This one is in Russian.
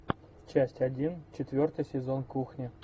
часть один четвертый сезон кухня